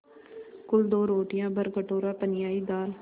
कुल दो रोटियाँ भरकटोरा पनियाई दाल